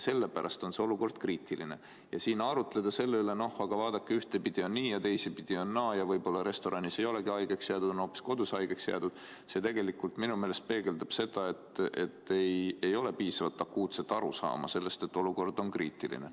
Sellepärast on olukord kriitiline ja siin arutleda selle üle, et noh, aga vaadake, ühtpidi on nii ja teistpidi on naa ja võib-olla restoranis ei olegi haigeks jäädud, on hoopis kodus haigeks jäädud – see tegelikult minu meelest peegeldab seda, et ei ole piisavat arusaama, et olukord on kriitiline.